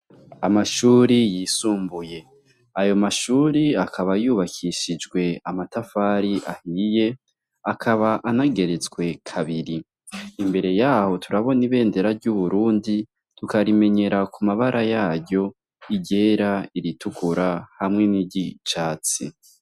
Amashuri yisumbuye ayo mashuri akaba yubakishijwe amatafari ahiye akaba anageretswe kabiri imbere yaho turabona ibendera y'uburundi tukarimenyera ku mabara yaryo iryera, iritukura hamwe n'iryicatsi.